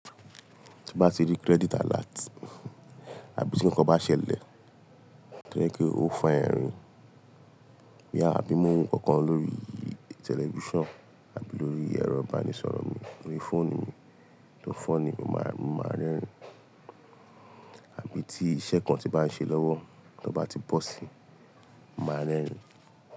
Tí n bá ti rí credit alert àbí tí ǹnkan bá ṣẹlẹ̀, tí ó jẹ́ pe ó fa ẹrìn. Boya àbí mo ń wọ́n nnkankan lórí tẹlifíṣàn àbí lórí ẹ̀rọ ìbánisọ̀rọ̀ mi, lórí fóònù mi, to funny, mo máa, mo máa rẹ́rìn. Àbí tí iṣẹ́ kan tí bá ń ṣe lọ́wọ́, tí ọ́ bá ti bọ̀ síi, mo máa rẹ́rìn.